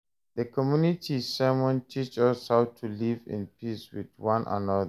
The community sermon teach us how to live in peace with one another.